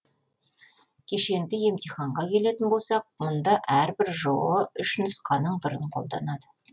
кешенді емтиханға келетін болсақ мұнда әрбір жоо үш нұсқаның бірін қолданады